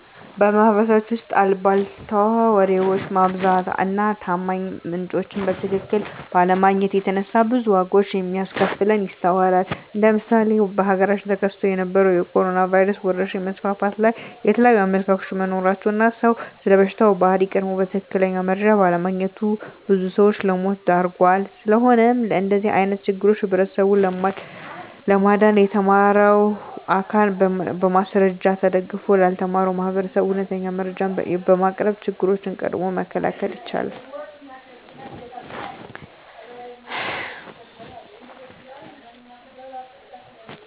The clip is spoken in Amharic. በማህበረሰባችን ውስጥ አልቧልታ ወሬዎች መብዛት እና ታማኝ ምንጮችን በትክክል ባለማግኘት የተነሳ ብዙ ዋጋዎች ሲያስከፍለን ይስተዋላል እንደ ምሳሌ በሀገራችን ተከስቶ በነበረዉ የኮሮኖ ቫይረስ ወረርሽኝ መስፋፋት ላይ የተለያዩ አመለካከቶች በመኖራቸው እና ሰዉ ስለበሽታው ባህሪ ቀድሞ በትክክል መረጃ ባለማግኘቱ ብዙ ሰዎችን ለሞት ዳርጓል። ስለሆነም ከእንደዚህ አይነት ችግሮች ህብረተሰቡን ለማዳን የተማረው አካል በማስረጃ ተደግፎ ላልተማረው ማህበረሰብ እውነተኛ መረጃዎችን በማቅረብ ችግሮችን ቀድሞ መከላከል ይቻላል።